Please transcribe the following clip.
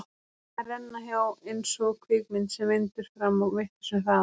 Þær renna hjá eins og kvikmynd sem vindur fram á vitlausum hraða.